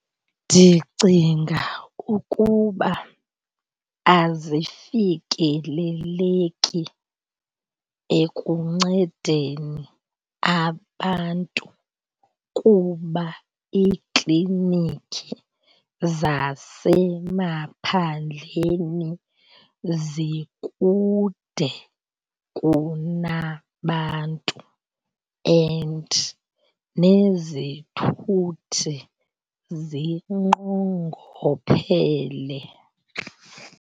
Ndicinga ukuba azifikeleleki ekuncedeni abantu kuba iikliniki zasemaphandleni zikude kunabantu and nezithuthi zinqongophele.